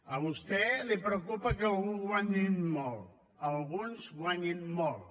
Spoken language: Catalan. a vostè el preocupa que algú guanyi molt alguns guanyin molt